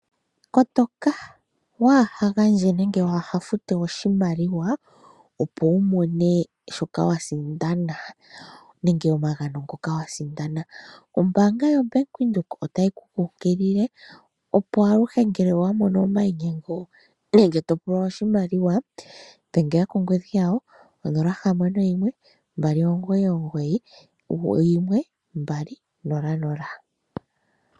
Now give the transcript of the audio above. Kotoka ,waa ha gandje nenge waa ha fute oshimaliwa, opo wu mone shoka wa sindana nenge omagano ngoka wa sindana. Ombaanga yoBank Windhoek otayi ku kunkilile opo aluhe ngele wa mono omainyengo nenge topulwa oshimaliwa, dhengela kongodhi yawo 0612991200.